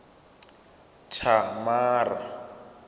thamara